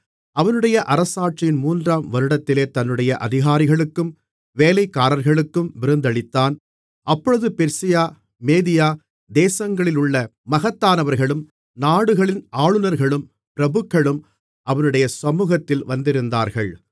அவனுடைய அரசாட்சியின் மூன்றாம் வருடத்திலே தன்னுடைய அதிகாரிகளுக்கும் வேலைக்காரர்களுக்கும் விருந்தளித்தான் அப்பொழுது பெர்சியா மேதியா தேசங்களிலுள்ள மகத்தானவர்களும் நாடுகளின் ஆளுனர்களும் பிரபுக்களும் அவனுடைய சமுகத்தில் வந்திருந்தார்கள்